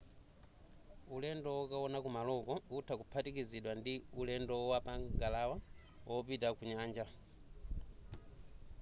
ulendo wokaona kumaloko utha kuphatikizidwa ndi ndi ulendo wapa ngalawa wopita ku nyanja